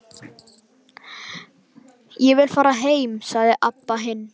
Ég vil fara heim, sagði Abba hin.